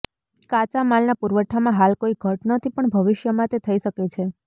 કાચામાલના પુરવઠામાં હાલ કોઈ ઘટ નથી પણ ભવિષ્યમાં તે થઈ શકે છે